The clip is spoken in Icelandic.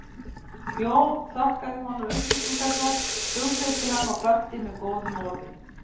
Jón þakkaði honum upplýsingarnar, hughreysti hann og kvaddi með góðum orðum.